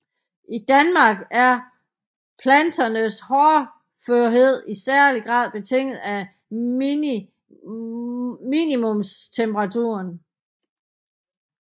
I Danmark er planternes hårdførhed i særlig grad betinget af minimumstemperaturen